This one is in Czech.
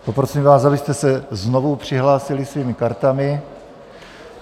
Poprosím vás, abyste se znovu přihlásili svými kartami.